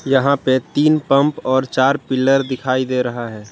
यहां पर तीन पंप और चार पिलर दिखाई दे रहा है।